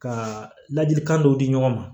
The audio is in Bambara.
Ka ladilikan dɔw di ɲɔgɔn ma